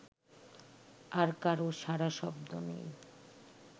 আর কারো সাড়াশব্দ নেই